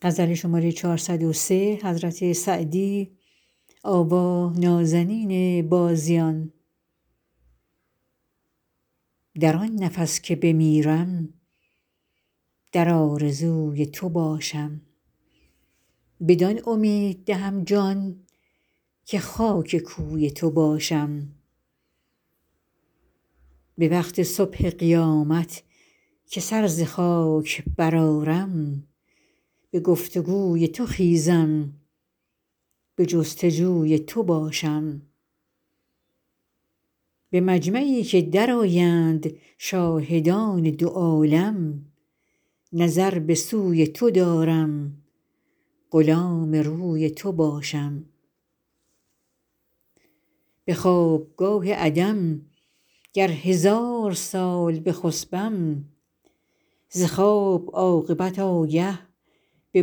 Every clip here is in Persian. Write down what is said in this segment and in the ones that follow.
در آن نفس که بمیرم در آرزوی تو باشم بدان امید دهم جان که خاک کوی تو باشم به وقت صبح قیامت که سر ز خاک برآرم به گفت و گوی تو خیزم به جست و جوی تو باشم به مجمعی که درآیند شاهدان دو عالم نظر به سوی تو دارم غلام روی تو باشم به خوابگاه عدم گر هزار سال بخسبم ز خواب عاقبت آگه به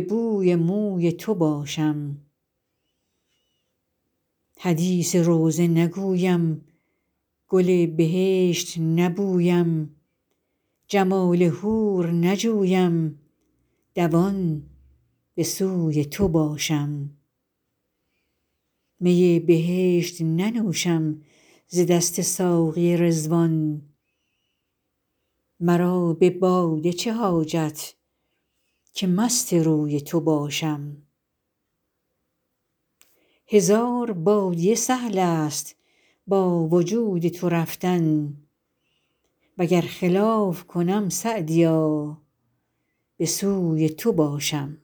بوی موی تو باشم حدیث روضه نگویم گل بهشت نبویم جمال حور نجویم دوان به سوی تو باشم می بهشت ننوشم ز دست ساقی رضوان مرا به باده چه حاجت که مست روی تو باشم هزار بادیه سهل است با وجود تو رفتن و گر خلاف کنم سعدیا به سوی تو باشم